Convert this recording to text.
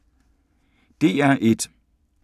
DR1